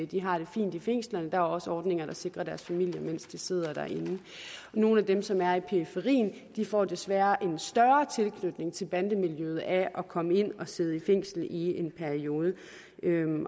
de har det fint i fængslerne og der er også ordninger der sikrer deres familier mens de sidder inde nogle af dem som er i periferien får desværre en større tilknytning til bandemiljøet af at komme ind og sidde i fængsel i en periode